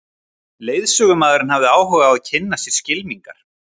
Leiðsögumaðurinn hafði áhuga á að kynna sér skylmingar.